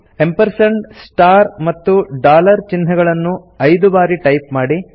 amp ampersand star ಮತ್ತು dollar ಚಿಹ್ನೆಗಳನ್ನು ಐದು ಬಾರಿ ಟೈಪ್ ಮಾಡಿ